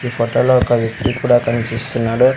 ఈ ఫోటో లో ఒక వ్యక్తి కూడా కనిపిస్తున్నాడు.